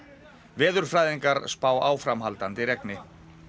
veðurfræðingar spá áframhaldandi regni